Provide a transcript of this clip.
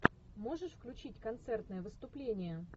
можешь включить концертное выступление